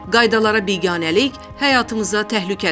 Qaydalara biganəlik həyatımıza təhlükədir.